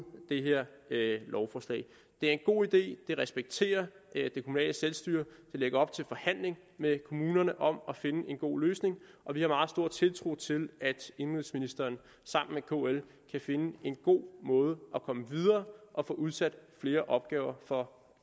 det her lovforslag det er en god idé det respekterer det kommunale selvstyre det lægger op til forhandling med kommunerne om at finde en god løsning og vi har meget stor tiltro til at indenrigsministeren sammen med kl kan finde en god måde at komme videre og få udsat flere opgaver for